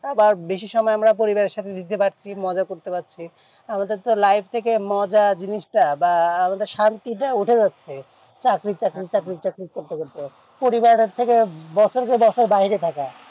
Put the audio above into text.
আবা বেশি সময় আমরা পরিবারের সাথে দিতে পারছি মজা করতে পারছি আমাদের তো life তাকে মজার জিনিস তা বা আমাদের শান্তি তা উঠে যাচ্ছে চাকরি চাকরি চাকরি করতে করতে পরিবারের কাছ থেকে বছর পর বছর বাইরে থাকা